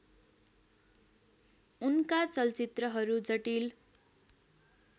उनका चलचित्रहरू जटिल